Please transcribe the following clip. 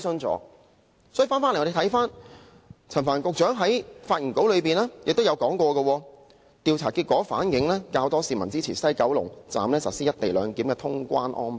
話說回頭，我們看到陳帆局長在發言稿中，亦提到"調查結果反映較多市民支持於西九龍站實施'一地兩檢'的通關安排"。